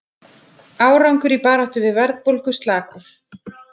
Árangur í baráttu við verðbólgu slakur